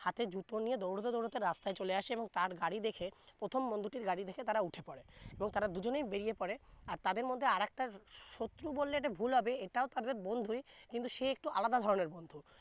হাতে জুতো নিয়ে দৌড়তে দৌড়তে রাস্তায় চলে আছে এবং তার গাড়ি দেখে প্রথম বন্ধুটির গাড়ি দেখে তারা উঠে পরে এবং তারা দুজনে বেরিয়ে পরে আর তাদের মধ্যে আরেকটা শত্রু এটা বললে ভুল হবে এটাও তাদের বন্ধুই কিন্তু সে আলাদা ধরনের বন্ধু